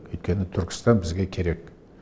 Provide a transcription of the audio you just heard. өйткені түркістан бізге керек